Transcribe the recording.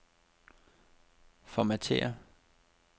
Formatér.